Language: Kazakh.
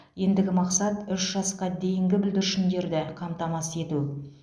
ендігі мақсат үш жасқа дейінгі бүлдіршіндері қамтамасыз ету